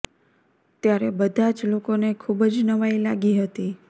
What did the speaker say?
ત્યારે બધા જ લોકોને ખુબ જ નવાઈ લાગી હતી